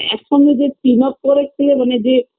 একসঙ্গে যে team up করে খেলে মানে যে